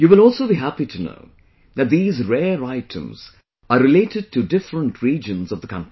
You will also be happy to know that these rare items are related to different regions of the country